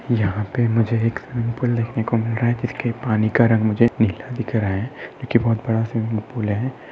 यहा पे मुझे एक स्विमिंग पूल देखने को मिल रहा जिसके पानी का रंग मुझे नीला दिख रहा है जो की बहुत बड़ा स्विमिंग पूल है।